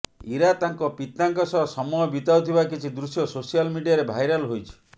ଇରା ତାଙ୍କ ପିତାଙ୍କ ସହ ସମୟ ବିତାଉଥିବା କିଛି ଦୃଶ୍ୟ ସୋସିଆଲ ମିଡ଼ିଆରେ ଭାଇରାଲ ହୋଇଛି